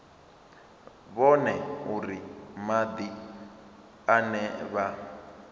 vhone uri madi ane vha